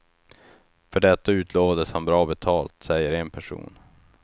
För detta utlovades han bra betalt, säger en person.